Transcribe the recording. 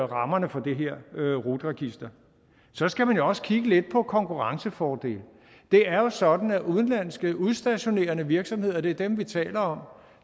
rammerne for det her rut register så skal man jo også kigge lidt på konkurrencefordele det er jo sådan at udenlandske udstationerende virksomheder og det er dem vi taler om